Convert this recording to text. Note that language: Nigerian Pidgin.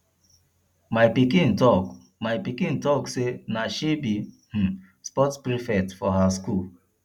my pikin talk my pikin talk sey na she be um sports prefect for her skool